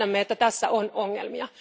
Tiedämme, että tässä on ongelmia.